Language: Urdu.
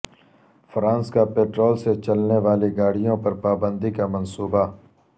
فرانس کا پیٹرول سے چلنے والی گاڑیوں پر پابندی کا منصوبہ